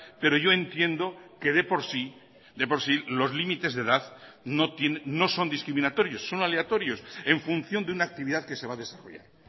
pero yo entiendo que de por sí de por sí los límites de edad no son discriminatorios son aleatorios en función de una actividad que se va a desarrollar